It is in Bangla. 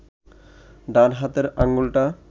ডান হাতের আঙুলটা